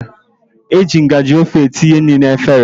E ji ngajị ofe etinye nri n'efere.